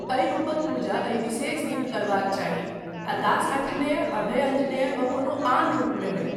एहि रूपक पूजा एहि विशेष दिन करबाक चाही आ दास अंजनेय, अभय अंजनेय वा कोनो आन रूपमे नहि।